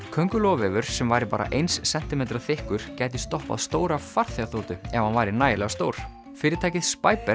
kóngulóarvefur sem væri bara eins sentímetra þykkur gæti stoppað stóra farþegaþotu ef hann væri nægilega stór fyrirtækið